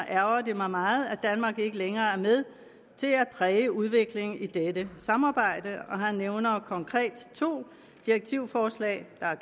ærgrer ham meget at danmark ikke længere er med til at præge udviklingen i dette samarbejde han nævner konkret to direktivforslag der er